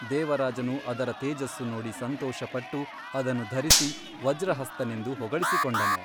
ದೇವರಾಜನು ಅದರ ತೇಜಸ್ಸು ನೋಡಿ ಸಂತೋಷಪಟ್ಟು ಅದನ್ನು ಧರಿಸಿ ವಜ್ರಹಸ್ತನೆಂದು ಹೊಗಳಿಸಿಕೊಂಡನು.